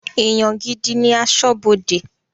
Èèyàn gidi ní aṣọ́bọdè